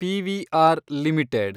PVR limited